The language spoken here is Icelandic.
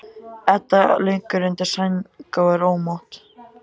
Edda liggur undir sæng og er ómótt.